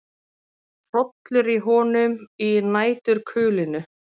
Hrollur í honum í næturkulinu.